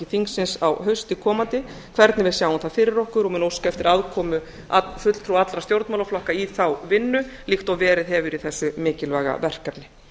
þingsins á hausti komanda hvernig við sjáum það fyrir okkur og mun óska eftir aðkomu allra stjórnmálaflokka í þá vinnu líkt og verið hefur í þessu mikilvæga verkefni